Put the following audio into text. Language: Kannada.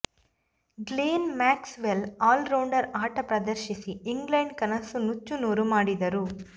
Glenn Maxwell all rounder ಆಟ ಪ್ರದರ್ಶಿಸಿ ಇಂಗ್ಲೆಂಡ್ ಕನಸು ನುಚ್ಚು ನೂರು ಮಾಡಿದರು